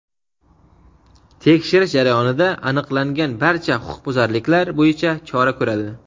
tekshirish jarayonida aniqlangan barcha huquqbuzarliklar bo‘yicha chora ko‘radi.